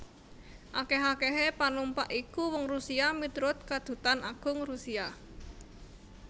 Akèh akèhé panumpak iku wong Rusia miturut Kadutan Agung Rusia